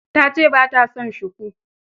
Ta ce ba ta son shuku.